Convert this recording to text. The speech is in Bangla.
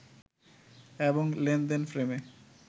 এবং লেনদেন ফ্রেমে